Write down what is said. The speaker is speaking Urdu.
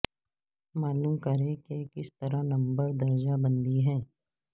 معلوم کریں کہ کس طرح نمبرز درجہ بندی ہیں